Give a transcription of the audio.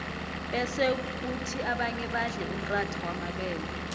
bese khuthi abanye badle umratha wamabele